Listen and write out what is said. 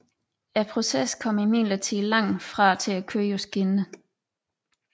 Processen kom imidlertid langt fra til at køre på skinner